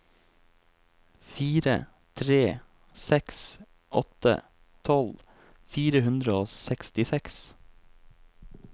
fire tre seks åtte tolv fire hundre og sekstiseks